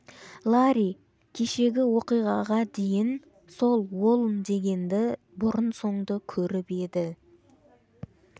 ларри кешегі оқиғаға дейін сол уолн дегенді бұрын-соңды көріп еді